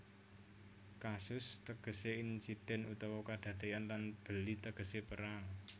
Casus tegesé insiden utawa kadadéyan lan belli tegesé perang